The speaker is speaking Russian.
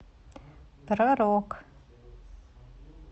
про рок